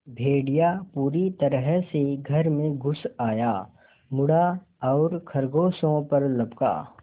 भेड़िया पूरी तरह से घर में घुस आया मुड़ा और खरगोशों पर लपका